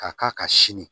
Ka k'a ka sini